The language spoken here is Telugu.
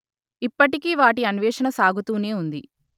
ఇప్పటికీ వాటి అన్వేషణ సాగుతూనే ఉంది